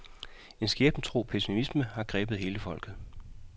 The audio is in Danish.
En skæbnetro pessimisme har grebet hele folket.